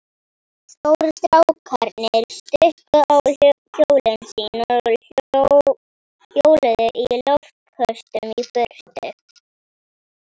Stóru strákarnir stukku á hjólin sín og hjóluðu í loftköstum í burtu.